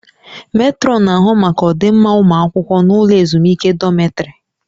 Metrọnụ na-ahụ maka ọdịmma ụmụ akwụkwọ n'ụlọ ezumike dọmịtrị